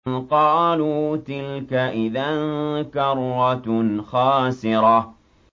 قَالُوا تِلْكَ إِذًا كَرَّةٌ خَاسِرَةٌ